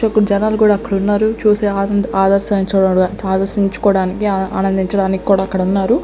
జనాలు కూడా అక్కడ ఉన్నారు చూసే ఆనంద్ ఆదర్శించుకోడానికి ఆనందించడానికి కూడా అక్కడ ఉన్నారు.